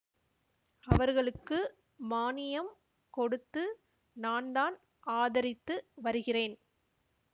அவர்களுக்கு மானியம் கொடுத்து நான்தான் ஆதரித்து வருகிறேன்